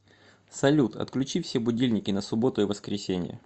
салют отключи все будильники на субботу и воскресенье